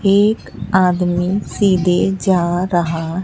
एक आदमी सीधे जा रहा--